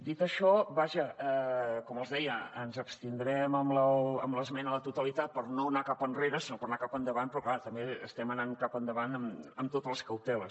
dit això vaja com els deia ens abstindrem en l’esmena a la totalitat per no anar cap enrere sinó per anar cap endavant però clar també estem anant cap endavant amb totes les cauteles